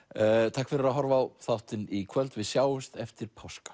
takk fyrir að horfa á þáttinn í kvöld við sjáumst eftir páska